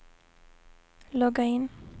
logga in